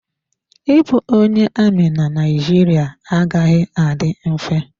Ịbụ onye amị na Naijiria agaghị adị mfe.